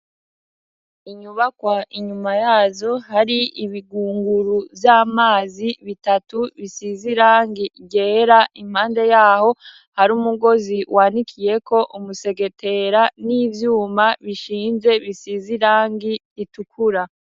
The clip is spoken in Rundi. Inyubakwa inyuma yazo hari ibigunguru vy'amazi bitatu bisize irangi ryera impande yaho hari umugozi wanikiyeko umusegetera n'ivyuma bishinze bisize irangi ritukura.